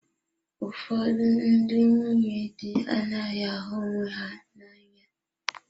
Ụfọdụ ndị nwunye di anaghị ahụ onwe ha n'anya.